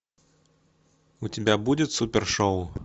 у тебя будет супершоу